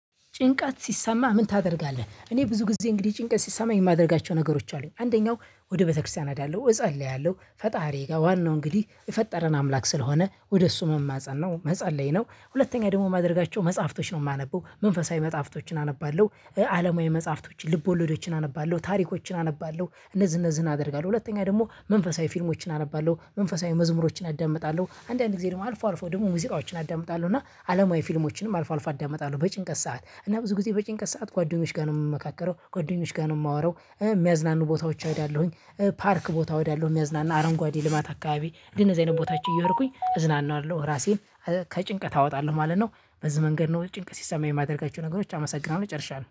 ጭንቀት ሲሰማሀ ምን ታደርጋለህ? እኔ ብዙ ጊዜ እንግዲህ ጭንቀት ሲሰማኝ ማደርጋቸው ነገሮች አሉ። አንደኛው ወደ ቤተክርስቲያን እሄዳለው፣ እጸልያለሁ፣ ፈጣሪዬ ጋ ዋናው እንግዲህ የፈጠረን አምላክ ስለሆነ ወደ እሱ መማፀን ነው፤ መፀለይ ነው። ሁለተኛ ደግሞ ማድረጋቸው መጽሐፍቶች ነው ማነበው መንፈሳዊ መጽሐፍቶችን አነባለሁ አለማዊ መጽሐፍቶች ልብ ወለዶችን አነባለሁ፤ ታሪኮችን አነባለሁ፤ እነዚህ እነዚህን አደርጋለሁ። ሁለተኛ ደግሞ መንፈሳዊ ፊልሞችን አነባለሁ። መንፈሳዊ መዝሙሮችን አዳምጣለሁ። አንዳንድ ጊዜ ደግሞ አልፎ አልፎ ደግሞ ሙዚቃዎችን አዳምጣለሁ እና አለማዊ ፊልሞችንም አልፎ አልፎ አዳምጣለሁ በጭንቀት ሰዓት። እና ብዙ ጊዜ በጭንቀት ሰዓት ጓደኞች ጋ ነው ምመካከረው፤ ጓደኞች ጋር ነው ማወራው ሚያዝናኑ ቦታዎች እሄዳለሁኝ ፓርክ ቦታ እሄዳለሁ የሚያዝናና አረንጓዴ ልማት አካባቢ። እንደነዚህ አይነት ቦታዎች እየሄድኩኝ እዝናናለሁ ራሴን ከጭንቀት አወጣለሁ ማለት ነው፤ በዚህ መንገድ ነው ጭንቅ ሲሰማ ማደርጋቸው ነገሮች አመሰግናለሁ፤ ጨርሻለሁ።